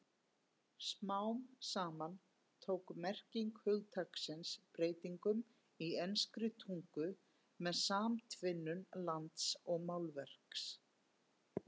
Smám saman tók merking hugtaksins breytingum í enskri tungu með samtvinnun lands og málverks.